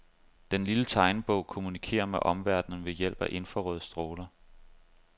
Den lille tegnebog kommunikerer med omverdenen ved hjælp af infrarøde stråler.